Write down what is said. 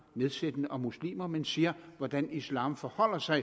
nedsættende om muslimer men siger hvordan islam forholder sig